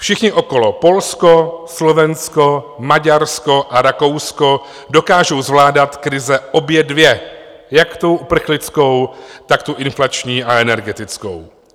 Všichni okolo, Polsko, Slovensko, Maďarsko a Rakousko, dokážou zvládat krize obě dvě, jak tu uprchlickou, tak tu inflační a energetickou.